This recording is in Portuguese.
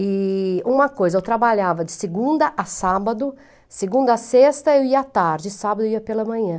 E uma coisa, eu trabalhava de segunda a sábado, segunda a sexta eu ia à tarde, sábado eu ia pela manhã.